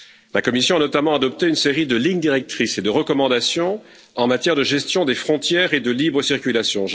La Commission a notamment adopté une série de lignes directrices et de recommandations en matière de gestion des frontières et de libre circulation.